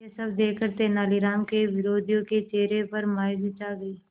यह सब देखकर तेनालीराम के विरोधियों के चेहरे पर मायूसी छा गई